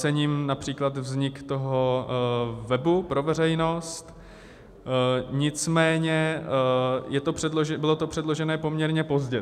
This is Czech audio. Cením například vzniku toho webu pro veřejnost, nicméně bylo to předloženo poměrně pozdě.